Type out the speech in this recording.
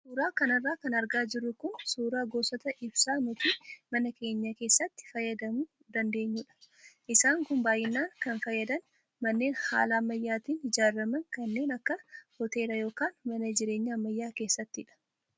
Suuraa kanarra kan argaa jirru kun suuraa gosoota ibsaa nuti mana keenya keessatti fayyadamuu dandaanyudha. Isaan kun baay'inaan kan fayyadan manneen haala ammaayyaatiin ijaaraman kanneen akka hoteelaa yookaan mana jireenyaa ammayyaa keessattidha.